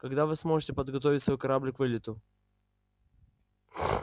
когда вы сможете подготовить свой корабль к вылету